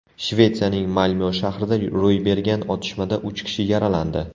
Shvetsiyaning Malmyo shahrida ro‘y bergan otishmada uch kishi yaralandi.